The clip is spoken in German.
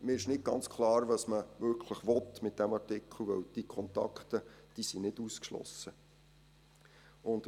Mir ist nicht ganz klar, was man mit diesem Artikel wirklich will, weil diese Kontakte nicht ausgeschlossen sind.